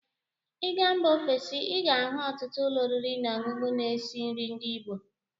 Ị gaa mba ofesi, ị ga-ahụ ọtụtụ ụlọ oriri na ọṅụṅụ na-esi nri ndị igbo.